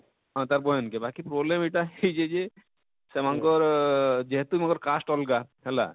ହଁ ତାର ବୁହେନ କେ ବାକି problem ଇଟା ହେଇଛେ ଯେ ସେମାନଙ୍କର ଅଅଁ ଅଅଁ ଯେହେତୁ ଇମାନଙ୍କର cast ଅଲଗା ହେଲା?